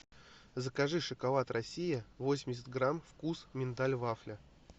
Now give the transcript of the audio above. закажи шоколад россия восемьдесят грамм вкус миндаль вафля